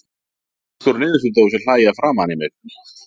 Sultukrukkur og niðursuðudósir hlæja framan í mig.